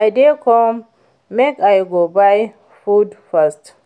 I dey come make I go buy you food first